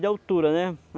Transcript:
de altura, né?